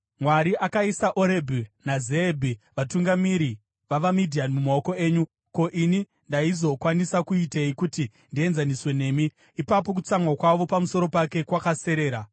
Mwari akaisa Orebhi naZeebhi, vatungamiri vavaMidhiani mumaoko enyu. Ko, ini ndaizokwanisa kuitei kuti ndienzaniswe nemi?” Ipapo, kutsamwa kwavo pamusoro pake kwakaserera.